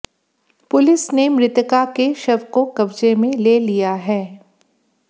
police ने मृतका के शव को कब्जे में ले लिया है